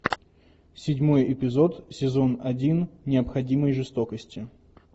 седьмой эпизод сезон один необходимой жестокости